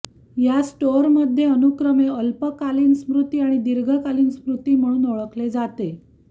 या स्टोअरमध्ये अनुक्रमे अल्पकालीन स्मृती आणि दीर्घकालीन स्मृती म्हणून ओळखले जाते